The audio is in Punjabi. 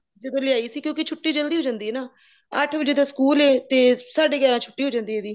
ਜਦੋ ਲਿਆਈ ਸੀ ਕਿਉਂਕਿ ਛੁੱਟੀ ਜਲਦੀ ਹੋ ਜਾਂਦੀ ਹੈ ਨਾ ਅੱਠ ਵਜੇ ਦਾ school ਐ ਤੇ ਸਾਡੇ ਗਿਆਰਾ ਵਜੇ ਹੋ ਜਾਂਦੀ ਐ ਇਹਦੀ